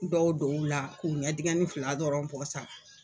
Dɔw dɔw la k'u ɲɛ dingɛnin fila dɔrɔn ko sa.